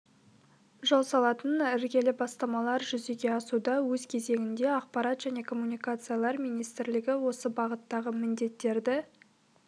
жол салатын іргелі бастамалар жүзеге асуда өз кезегінде ақпарат және коммуникациялар министрлігі осы бағыттағы міндеттерді